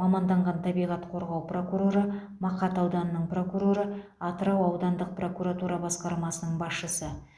маманданған табиғат қорғау прокуроры мақат ауданының прокуроры атырау аудандық прокуратура басқармасының басшысы